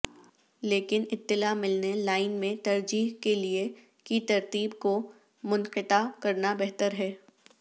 لیکن اطلاع ملنے لائن میں ترجیح کے لئے کی ترتیب کو منقطع کرنا بہتر ہے